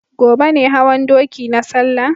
Gobe ne hawan doki na salla